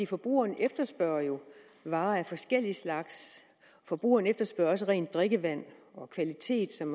forbrugeren efterspørger jo varer af forskellig slags forbrugeren efterspørger også rent drikkevand og kvalitet som